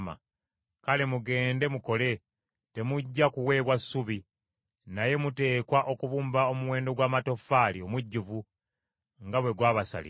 Kale, mugende mukole! Temujja kuweebwa ssubi, naye muteekwa okubumba omuwendo gw’amatoffaali omujjuvu nga bwe gwabasalirwa.”